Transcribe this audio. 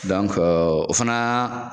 Dɔnke o fana